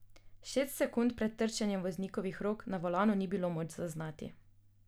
Šest sekund pred trčenjem voznikovih rok na volanu ni bilo moč zaznati.